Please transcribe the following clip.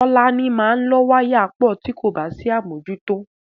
Tọ́láni máa lọ́ wáyà pọ̀ tí kò bá sí àmójútó.